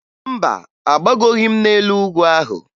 Mba, agbagoghi m n'elu ugwu ahụ